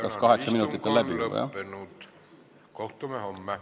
Kas kaheksa minutit on juba läbi?